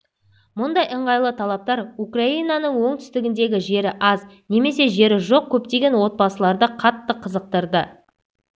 мұндай ыңғайлы талаптар украинаның оңтүстігіндегі жері аз немесе жері жоқ көптеген отбасыларды қатты қызықтырды